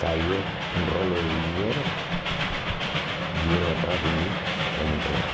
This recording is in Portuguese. Caiu um rolo de dinheiro, vieram atrás de mim para me entregar.